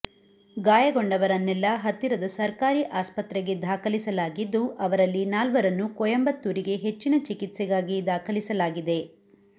ಗಾಯಗೊಂಡವರನ್ನೆಲ್ಲ ಹತ್ತಿರದ ಸರ್ಕಾರಿ ಆಸ್ಪತ್ರೆಗೆ ದಾಖಲಿಸಲಾಗಿದ್ದು ಅವರಲ್ಲಿ ನಾಲ್ವರನ್ನು ಕೊಯಂಬತ್ತೂರಿಗೆ ಹೆಚ್ಚಿನ ಚಿಕಿತ್ಸೆಗಾಗಿ ದಾಖಲಿಸಲಾಗಿದೆ